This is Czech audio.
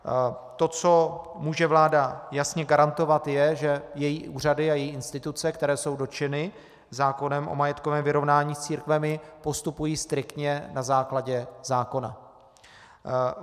To, co může vláda jasně garantovat, je, že její úřady a její instituce, které jsou dotčeny zákonem o majetkovém vyrovnání s církvemi, postupují striktně na základě zákona.